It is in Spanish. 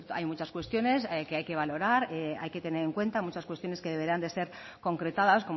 hay muchas cuestiones que hay que valorar hay que tener en cuenta muchas cuestiones que deberán de ser concretadas